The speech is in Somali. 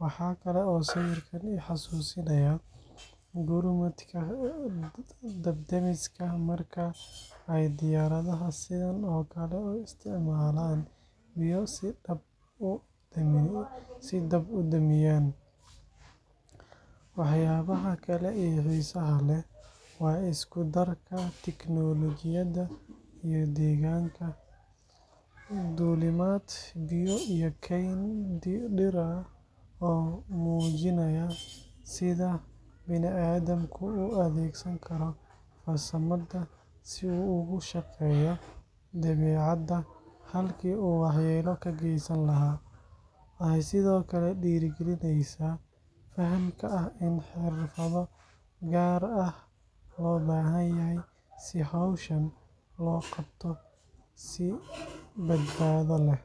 Waxa kale oo sawirkan i xasuusinayaa gurmadka dab-damiska marka ay diyaaradaha sidan oo kale u isticmaalaan biyo si ay dab u damiyaan. Waxyaabaha kale ee xiisaha leh waa isku-darka tiknoolajiyadda iyo deegaanka—duulimaad, biyo, iyo kayn dhir ah—oo muujinaya sida banii'aadamku u adeegsan karo farsamada si uu ugu shaqeeyo dabeecadda halkii uu waxyeello ka geysan lahaa. Waxay sidoo kale dhiirrigelinaysaa fahamka ah in xirfado gaar ah loo baahan yahay si hawlahan loo qabto si badbaado leh.